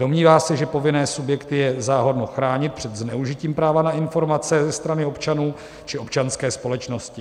Domnívá se, že povinné subjekty je záhodno chránit před zneužitím práva na informace ze strany občanů či občanské společnosti.